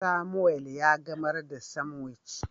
Samuel ya gamar da sanwic.